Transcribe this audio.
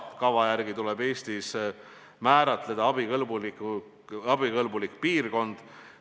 Kava järgi tuleb Eestis määratleda abikõlbulik piirkond.